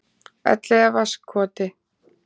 Elliðavatnskoti